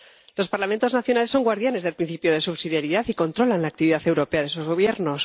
Los Parlamentos nacionales son guardianes del principio de subsidiariedad y controlan la actividad europea de esos Gobiernos